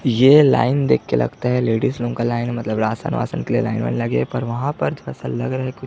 ये लाइन दिख के लगता है लेडीज लोग का लाइन मतलब रासन -वासन के लिए लाइन -वाइन लगे है पर वहाँ पर थोड़ा -सा लग रहा है कि --